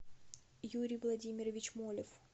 юрий владимирович молев